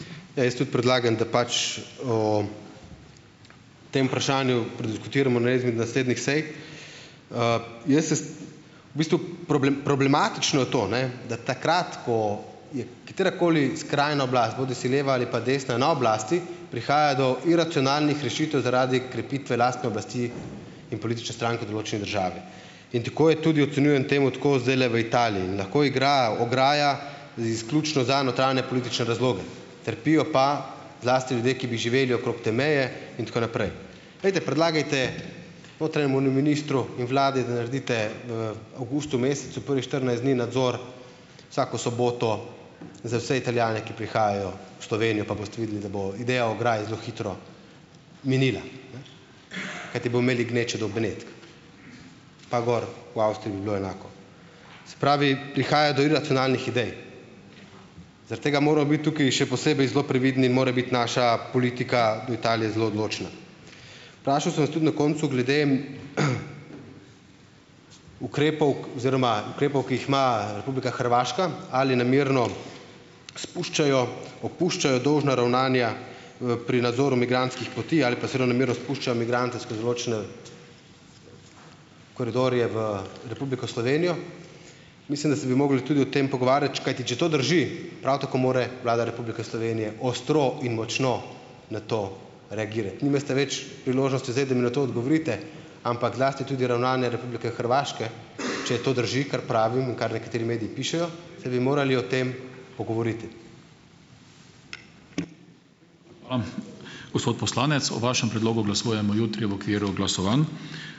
Ja, jaz tudi predlagam, da pač o tem vprašanju prediskutiramo na eni izmed naslednjih sej. Jaz se V bistvu problematično je to, ne da takrat, ko je katerakoli skrajna oblast, bodisi leva ali pa desna na oblasti, prihaja do iracionalnih rešitev zaradi krepitve lastne oblasti in politične stranke določene države in tako je tudi ocenjujem temu tako zdajle v Italiji. Lahko igra ograja izključno za notranjepolitične razloge, trpijo pa zlasti ljudje, ki bi živeli okrog te meje in tako naprej. Pojdite, predlagajte notranjemu ministru in vladi, da naredite v avgustu mesecu prvih štirinajst dni nadzor vsako soboto za vse Italijane, ki prihajajo v Slovenijo, pa boste videli, da bo ideja o ograji zelo hitro minila, ne, kajti bojo imeli gnečo do Benetk. Pa gor v Avstriji bi bilo enako. Se pravi, prihaja do iracionalnih idej. Zaradi tega moramo biti tukaj še posebej zelo previdni, mora biti naša politika do Italije zelo odločna. Vprašal sem tudi na koncu glede, ukrepov oziroma ukrepov, ki jih ima Republika Hrvaška, ali namerno spuščajo, opuščajo dolžna ravnanja, pri nadzoru migrantskih poti ali pa zelo namerno spuščajo migrante skozi določene koridorje v Republiko Slovenijo. Mislim, da bi se mogli tudi o tem pogovarjati, kajti če to drži, prav tako mora Vlada Republike Slovenije ostro in močno na to reagirati. Nimate več priložnosti zdaj, da mi na to odgovorite, ampak zlasti tudi ravnanja Republike Hrvaške, če to drži, kar pravimo, kar nekateri mediji pišejo, se bi morali o tem pogovoriti.